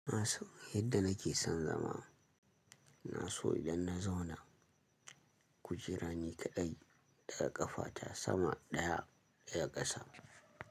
Na so yadda nake son zama. Na so idan na zauna kujera ni kaɗai ɗaga ƙafa ta sama ɗaya ɗaya ƙasa.